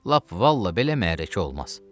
Lap vallah belə məhəllə olmaz.